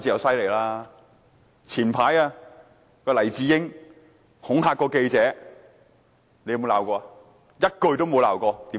早前黎智英恐嚇記者，她有沒有譴責？